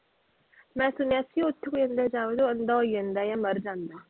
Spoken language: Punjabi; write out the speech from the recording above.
ਮੈਂ ਸੁਣਿਆ ਸੀ ਉਸ ਵੇਲੇ ਜਾਓ ਅੰਧਾ ਹੋ ਜਾਂਦਾ ਹੈ ਜਾਂ ਮਰ ਜਾਂਦਾ ਹੈ।